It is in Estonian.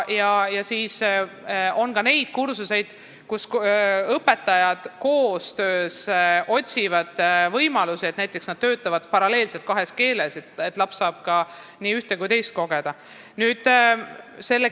Ja on ka neid kursuseid, kus õpetajad otsivad koostöös võimalusi, näiteks töötavad paralleelselt kahes keeles, et laps saaks kogeda nii ühte kui ka teist.